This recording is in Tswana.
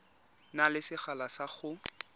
na le sekgala sa go